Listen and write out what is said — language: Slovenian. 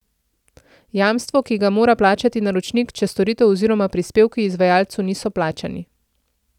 Jamstvo, ki ga mora plačati naročnik, če storitev oziroma prispevki izvajalcu niso plačani.